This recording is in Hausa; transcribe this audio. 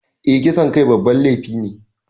Eh, kisan kai babban laifi ne